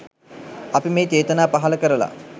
අපි මේ චේතනා පහළ කරලා